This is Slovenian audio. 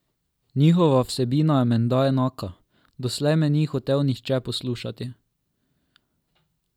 Njihova vsebina je menda enaka: 'Doslej me ni hotel nihče poslušati.